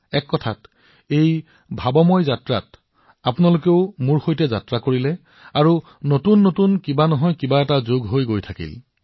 এক প্ৰকাৰে এই চিন্তা যাত্ৰাত আপোনালোক সকলোৱে একেলগে আগবাঢ়ক সংযোজিত হওক আৰু নতুন কিবা নহয় কিবা এটা জড়িত কৰি থাকক